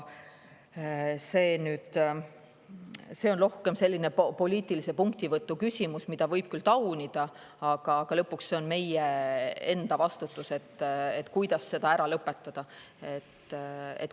See on rohkem selline poliitilise punktivõtu küsimus, mida võib küll taunida, aga lõpuks on see meie enda vastutus, kuidas seda ära lõpetada.